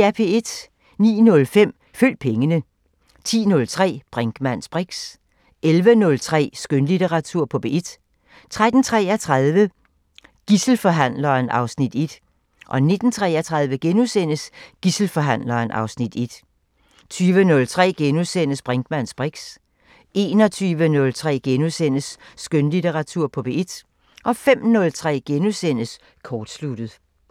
09:05: Følg pengene 10:03: Brinkmanns briks 11:03: Skønlitteratur på P1 13:33: Gidselforhandleren (Afs. 1) 19:33: Gidselforhandleren (Afs. 1)* 20:03: Brinkmanns briks * 21:03: Skønlitteratur på P1 * 05:03: Kortsluttet *